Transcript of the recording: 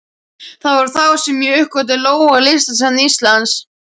Það var þá sem ég uppgötvaði lógó Listasafns Íslands.